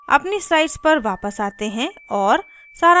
अपनी slides पर वापस आते हैं और सारांशित करते हैं